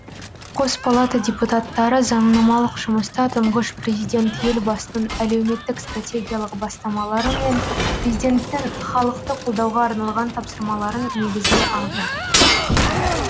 қос палата депутаттары заңнамалық жұмыста тұңғыш президент елбасының әлеуметтік стратегиялық бастамалары мен президенттің халықты қолдауға арналған тапсырмаларын негізге алды